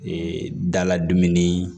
Ee daladon ni